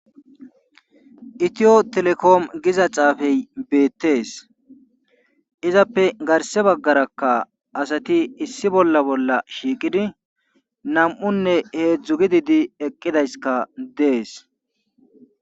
Itiyo telekom giza xaafe betees. izappe garssa bagara asati issi issi bolla shiiqidi nam'unne heedzdzu gididi eqqidayskka dees.